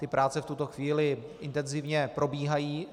Ty práce v tuto chvíli intenzivně probíhají.